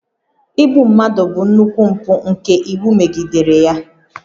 Igbu mmadụ bụ nnukwu mpụ nke iwu megidere ya